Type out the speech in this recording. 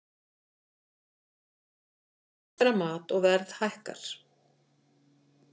Þjóðir hamstra mat og verð hækkar